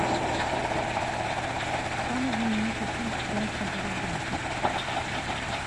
самый знаменитый фильм фрэнка дарабонта